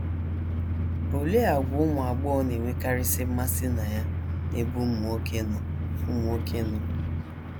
OLEE àgwà ụmụ agbọghọ na - enwekarịsị mmasị na ya n’ebe ụmụ nwoke nọ ụmụ nwoke nọ?